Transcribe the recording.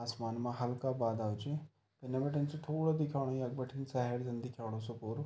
असमान मा हल्का बादल च कने बटें सि थोड़ा दिख्योणु यख बठिन शहर जन दिख्योणु सु पूरो।